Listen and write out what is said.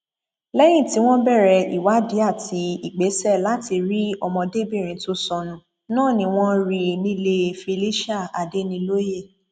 èèyàn tó lé um ní mẹẹẹdọgbọn la gbọ pé ó um ṣẹṣẹ aláboyún kan ṣì wà ṣì wà nínú wọn